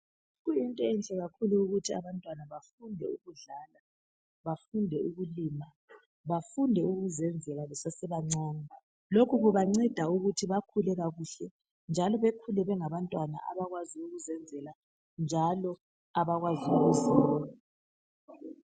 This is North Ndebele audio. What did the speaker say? Kuyinto enhle kakhulu ukuthi abantwana bafunde ukudlala bafunde ukulima, bafunde ukuzenzela besesebancane. Lokhu kubanceda ukuthi bakhule kakuhle njalo bekhule bengabantwana abakwazi ukuzenzela njalo abakwazi ukuzimela.